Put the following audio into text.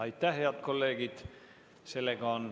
Aitäh, head kolleegid!